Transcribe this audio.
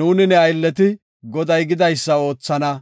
“Nuuni ne aylleti Goday gidaysa oothana.